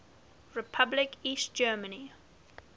republic east germany